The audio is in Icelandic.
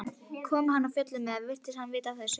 Kom hann af fjöllum eða virtist hann vita af þessu?